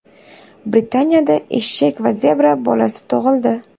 Britaniyada eshak va zebra bolasi tug‘ildi.